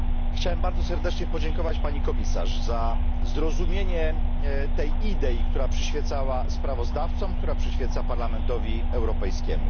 Chciałem bardzo serdecznie podziękować pani Komisarz za zrozumienie tej idei, która przyświecała sprawozdawcom, która przyświeca Parlamentowi Europejskiemu.